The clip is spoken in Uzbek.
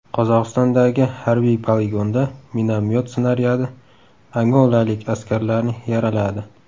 Qozog‘istondagi harbiy poligonda minomyot snaryadi angolalik askarlarni yaraladi.